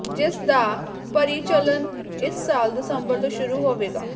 ਜਿਸ ਦਾ ਪਰੀਚਾਲਨ ਇਸ ਸਾਲ ਦਸੰਬਰ ਤੋਂ ਸ਼ੁਰੂ ਹੋਵੇਗਾ